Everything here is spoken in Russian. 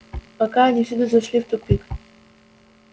пока они всюду зашли в тупик